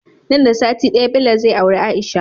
Nan da sati daya Bello zai aure aisha